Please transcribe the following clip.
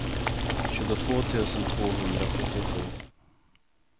tjugotvå tusen tvåhundrasjuttiosju